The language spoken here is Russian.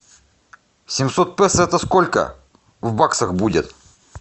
семьсот песо это сколько в баксах будет